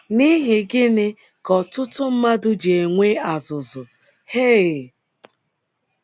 N’ihi Gịnị Ka Ọtụtụ Mmadụ Ji Enwe azụ̀zụ̀ Hay??